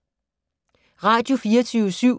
Radio24syv